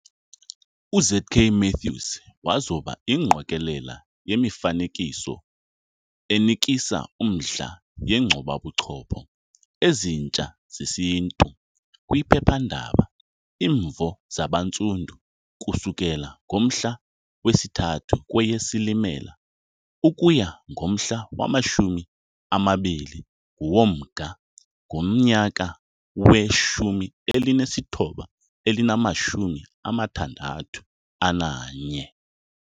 UZ.K. Matthews wazoba ingqokelela yemifanekiso enikisa umdla yeenkcubabuchopho Ezintsha zesiNtu kwiphephandaba Imvo Zabantsundu ukususela ngomhla wesi-3 kweyeSilimela ukuya ngomhla wama-20 woMnga ngomnyaka we-1961.